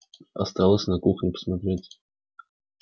осталось на кухне посмотреть